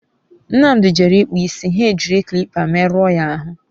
Nnamdi jere ikpu isi, ha e jiri kilipa merụ ọ ya ahụ